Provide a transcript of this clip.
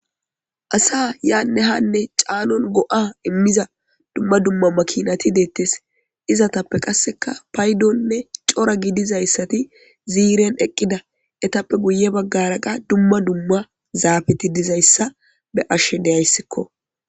Asa yaanne hanne caalon go'a immiza dumma dumma makinati deettes izatappe qasseka paydonne cora gidizayssati ziiren eqqida etappe guye baggaraqa dumma dumma zaabeti dizayssa be ashshe deyayssikko.